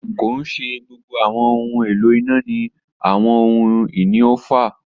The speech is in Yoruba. Kii ṣe gbogbo awọn ohun elo ina ni awọn ohun-ini oofa.